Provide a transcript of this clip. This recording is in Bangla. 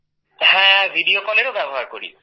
হ্যাঁ ভিডিও Callএরও ব্যবহার করি